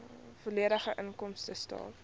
volledige inkomstestaat